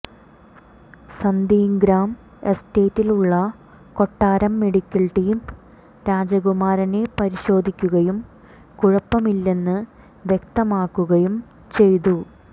Sandringham എസ്റ്റേറ്റിലുള്ള കൊട്ടാരം medical team രാജകുമാരനെ പരിശോധിക്കുകയും കുഴപ്പമില്ലെന്ന് വ്യക്തമാക്കുകയും ചചെയ്തു